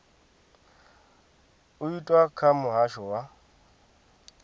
u itwa kha muhasho wa